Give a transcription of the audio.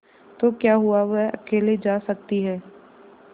तो क्या हुआवह अकेले जा सकती है